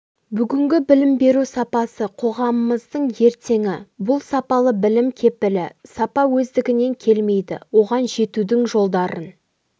бүгінгі білім беру сапасы қоғамымыздың ертеңі бұл сапалы білім кепілі сапа өздігінен келмейді оған жетудің жолдарын